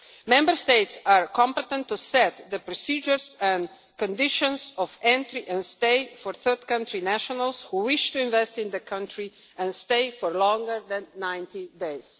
Member States are competent to set the procedures and conditions of entry and stay for third country nationals who wish to invest in the country and stay for longer than 90 days.